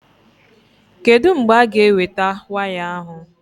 Kedụ mgbe a-ga eweta waya ahụ?